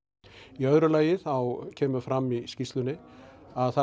í öðru lagi kemur fram í skýrslunni að það